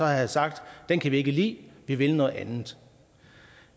havde sagt det kan vi ikke lide vi vil noget andet